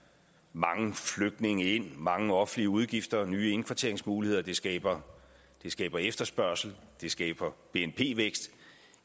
mange flygtninge ind mange offentlige udgifter nye indkvarteringsmuligheder det skaber skaber efterspørgsel det skaber bnp vækst